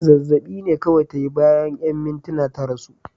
Zazzab'i ne kawai ta yi, bayan 'yan mintuna ta rasu.